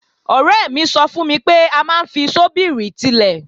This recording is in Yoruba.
Ọ̀rẹ́ mi sọ fún mi pé a máa ń fi ṣọ́bìrì tilẹ̀